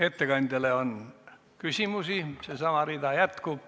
Ettekandjale on küsimusi, seesama rida jätkub.